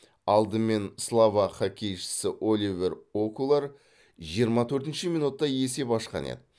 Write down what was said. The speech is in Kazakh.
алдымен словак хоккейшісі оливер окулар жиырма төртінші минутта есеп ашқан еді